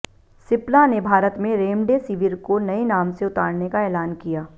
सिप्ला ने भारत में रेमडेसिविर को नए नाम से उतारने का ऐलान किया